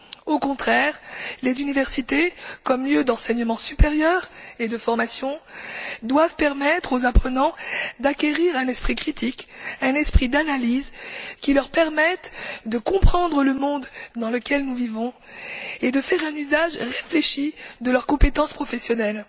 Au contraire, les universités, comme lieux d'enseignement supérieur et de formation, doivent permettre aux apprenants d'acquérir un esprit critique, un esprit d'analyse, qui leur permette de comprendre le monde dans lequel nous vivons et de faire un usage réfléchi de leurs compétences professionnelles.